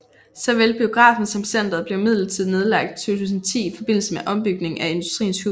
Såvel biografen som centret blev midlertidigt nedlagt i 2010 i forbindelse med ombygningen af Industriens Hus